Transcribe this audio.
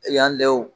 Yan dɛ